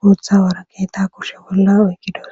boththa woraqatezaka oyqida